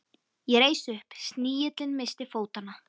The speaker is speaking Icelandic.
Ég reis upp, snigillinn missti fótanna.